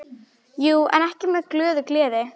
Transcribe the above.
Jú, en ekki með glöðu geði.